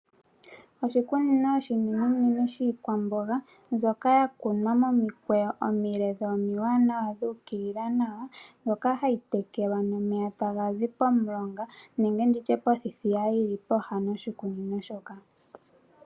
Oshikunino oshinenenene shiikwamboga mbyoka ya kunwa momikweyo omile dho omiwaanawa dhu ukilila nawa, mbyoka hayi tekelwa nomeya taga zi pomulonga nenge ndi tye pothithiya yili pooha noshikunino shoka.